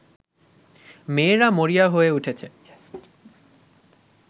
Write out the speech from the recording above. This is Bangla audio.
মেয়েরা মরিয়া হয়ে উঠেছে